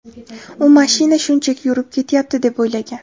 U mashina shunchaki yurib ketyapti deb o‘ylagan.